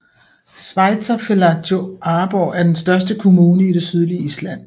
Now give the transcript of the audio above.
Sveitarfélagið Árborg er den største kommune i det sydlige Island